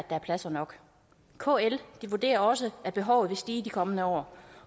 er pladser nok kl vurderer også at behovet vil stige i de kommende år